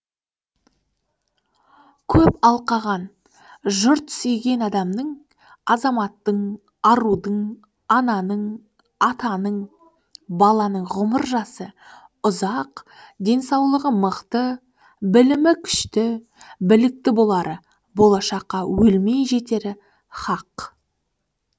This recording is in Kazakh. көп алқаған жұрт сүйген адамның азаматтың арудың ананың атаның баланың ғұмыр жасы ұзақ денсаулығы мықты білімі күшті білікті болары болашаққа өлмей жетері хақ